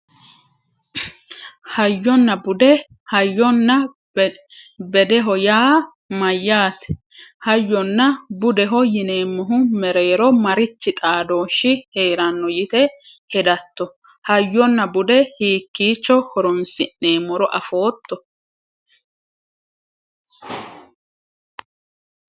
Hayyonna bude hayyonna bedeho yaa mayyaate hayyonna budeho yineemmohu mereero marichi xaadooshshi heeranno yite hedatto hayyonna bude hiikkiicho horonsi'neemmoro afootto